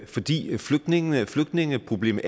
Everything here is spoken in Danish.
fordi flygtningene og flygtningeproblemet